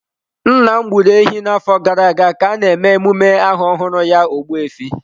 Nna m gburu ehi n'afọ gara aga ka a na-eme emume aha ọhụrụ ya Ogbu efi.